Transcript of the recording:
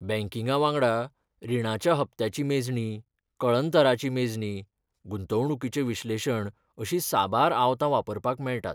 बँकिंगा वांगडा, रिणाच्या हप्त्यांची मेजणी, कळंतराची मेजणी, गुंतवणुकीचें विश्लेशण अशीं साबार आवतां वापरपाक मेळटात.